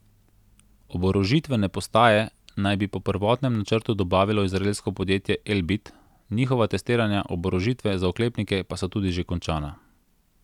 Oborožitvene postaje naj bi po prvotnem načrtu dobavilo izraelsko podjetje Elbit, njihova testiranja oborožitve za oklepnike so tudi že končana.